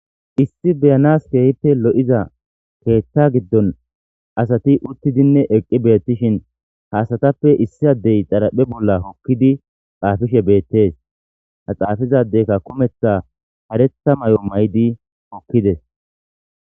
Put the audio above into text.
issi beyanas kehippe lo7iza keththta giddon asati uttidinne eqqi beettishin haasatappe issi addey xaraphe bolla hokkidi xaafishe beettees ha xaafizadeyka kumetha haretha may7o maydi hokkides.